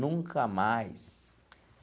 Nunca mais.